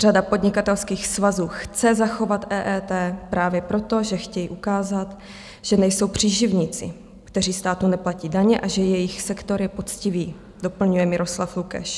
Řada podnikatelských svazů chce zachovat EET právě proto, že chtějí ukázat, že nejsou příživníci, kteří státu neplatí daně, a že jejich sektor je poctivý, doplňuje Miroslav Lukeš.